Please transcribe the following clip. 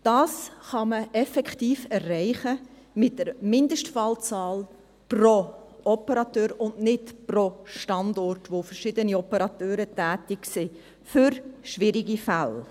Dies kann man effektiv mit der Mindestfallzahl pro Operateur erreichen, und nicht pro Standort, an dem verschiedene Operateure tätig sind, für schwierige Fälle.